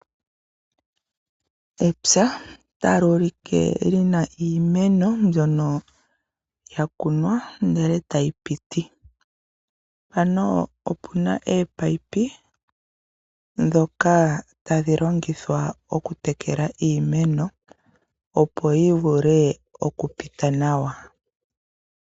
Epya tali ulike li na iimeno mbyono ya kunwa ndele eta yi piti. Mpano opu na eepayipi ndhoka tadhi longithwa okutekela iimeno opo yi vule oku pita nawa.